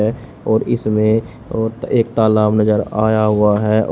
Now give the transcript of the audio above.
और इसमें एक तालाब नजर आया हुआ है।